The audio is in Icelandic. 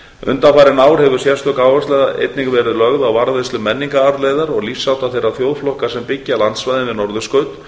undanfarin ár hefur sérstök áhersla einnig verið lögð á varðveislu menningararfleifðar og lífshátta þeirra þjóðflokka sem byggja landsvæðin við norðurskaut